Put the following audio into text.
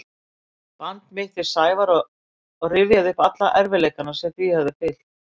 band mitt við Sævar og rifjaði upp alla erfiðleikana sem því höfðu fylgt.